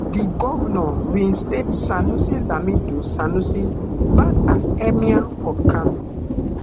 di govnor reinstate sanusi lamido sanusi back as emir of kano